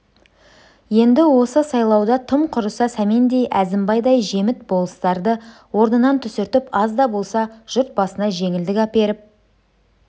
енді осы сайлауда тым құрса сәмендей әзімбайдай жеміт болыстарды орнынан түсіртіп аз да болса жұрт басына жеңілдік әперіп